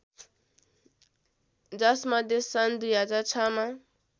जसमध्ये सन् २००६ मा